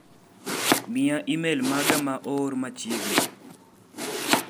Miya imel maga ma oor machieg'ni.